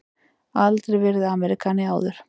Aldrei verið Ameríkani áður.